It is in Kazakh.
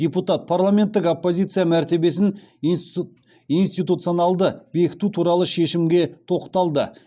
депутат парламенттік оппозиция мәртебесін институтционалды бекіту туралы шешімге тоқталды